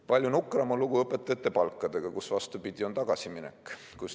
Palju nukram on lugu õpetajate palkadega, kus on, vastupidi, tagasiminek.